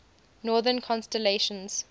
northern constellations